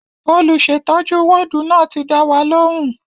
Olùsètọ́jú wọ́ọ̀dù náà ti dá wa lóhùn